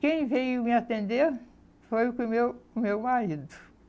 Quem veio me atender foi o foi meu o meu marido.